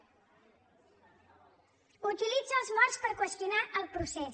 utilitza els morts per qüestionar el procés